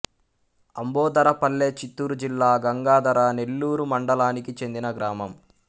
అంబోధరపల్లె చిత్తూరు జిల్లా గంగాధర నెల్లూరు మండలానికి చెందిన గ్రామం